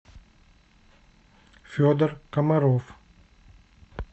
федор комаров